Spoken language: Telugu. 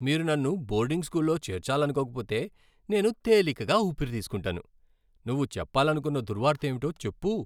మీరు నన్ను బోర్డింగ్ స్కూల్లో చేర్చాలనుకోకపోతే, నేను తేలికగా ఊపిరి తీసుకుంటాను. నువ్వు చెప్పాలనుకున్న దుర్వార్త ఏమిటో చెప్పు.